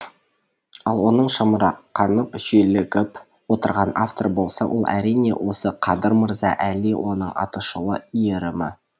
ал оның шамырқанып шүйлігіп отырған авторы болса ол әрине осы қадыр мырза әли оның атышулы иірімі